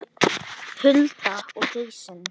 Hulda og Jason.